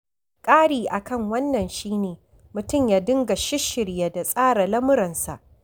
Ƙari a kan wannan shi ne, mutum ya dinga shisshirya da tsara lamuransa.